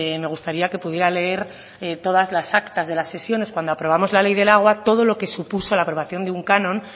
me gustaría que pudiera leer todas las actas de las sesiones cuando aprobamos la ley del agua todo lo que supuso la aprobación de un canon